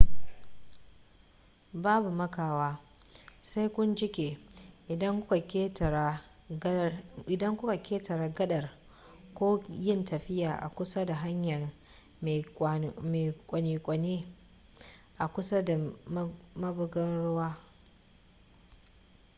babu makawa sai kun jike idan kuka ketare gadar ko yin tafiya a kusa da hanyar mai kwane-kwane a kusa da mabugar ruwan